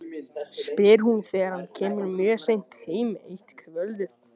spyr hún þegar hann kemur mjög seint heim eitt kvöldið.